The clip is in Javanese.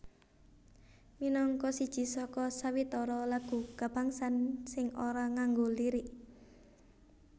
Minangka siji saka sawetara lagu kabangsan sing ora nganggo lirik